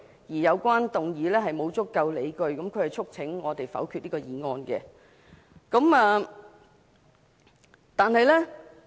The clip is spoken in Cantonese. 他更表示沒有足夠理據，故此促請我們否決此議案。